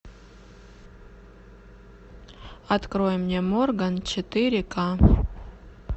открой мне морган четыре ка